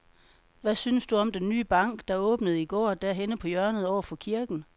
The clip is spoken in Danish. Hvad synes du om den nye bank, der åbnede i går dernede på hjørnet over for kirken?